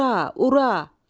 Urra, urra!